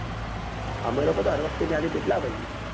અમે લોકો તો હર વખતે ત્યાંથી જ લાવીએ છીએ